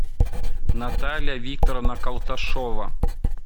наталья викторовна калташова